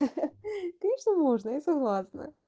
ха-ха конечно можно я согласна